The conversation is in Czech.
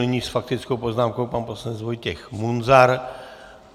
Nyní s faktickou poznámkou pan poslanec Vojtěch Munzar.